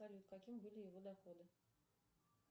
салют какими были его доходы